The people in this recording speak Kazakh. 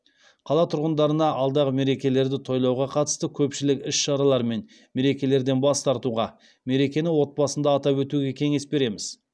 қала тұрғындарына алдағы мерекелерді тойлауға қатысты көпшілік іс шаралар мен мерекелерден бас тартуға мерекені отбасында атап өтуге кеңес береміз